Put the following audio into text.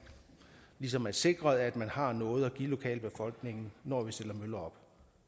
ligesom er sikret at man har noget at give lokalbefolkningen når man stiller møller